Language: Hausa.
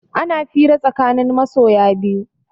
Ana fira tsakanin masoya biyu